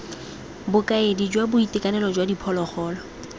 bokaedi jwa boitekanelo jwa diphologolo